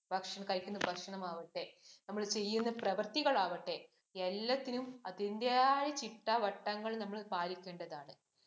ഭക്ഷണം, കഴിക്കുന്ന ഭക്ഷണം ആവട്ടെ, നമ്മള്‍ ചെയ്യുന്ന പ്രവര്‍ത്തികള്‍ ആവട്ടെ, എല്ലാത്തിനും അതിന്‍റെയായ ചിട്ടവട്ടങ്ങള്‍ നമ്മള്‍ പാലിക്കേണ്ടതാണ്.